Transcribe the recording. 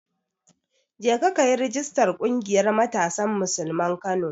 Jeka kayi rijistar ƙungiyar Matasan Musulman Kano.